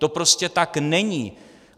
To prostě tak není!